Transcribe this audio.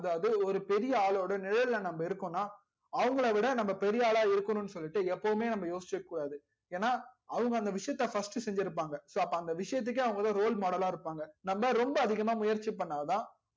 அதாவது ஒரு பெரிய ஆலோட நிழல் ல நம்ப இருகோம்னா அவங்கல விட நம்ப பெரிய ஆலா இருக்கணும்னு சொல்லிட்டு எப்போவுமே நம்ப யோசிச்சிகிட்டு இருக்க கூடாது ஏனா அவங்க அந்த விஷயத்த first செஞ்சி இருப்பாங்க so அவங்கதா அந்த விசயத்துக்கு roll model இருப்பாங்க நம்ப ரொம்ப அதிகமா முயற்சி பண்ணாதா